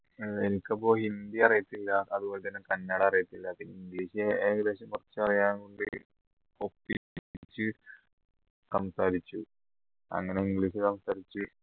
ഏർ എനിക്കപ്പോ ഹിന്ദി അറിയത്തില്ല അതുപോലെതന്നെ കന്നട അറിയത്തില്ല പിന്നെ english ഏകദേശം കുറച്ച് അറിയാം ഒപ്പിച്ച സംസാരിച്ചു അങ്ങനെ english സംസാരിച്ച്